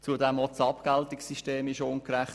Auch das Abgeltungssystem ist ungerecht.